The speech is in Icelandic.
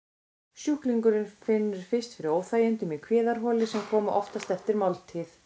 Sjúklingurinn finnur fyrst fyrir óþægindum í kviðarholi, sem koma oftast eftir máltíð.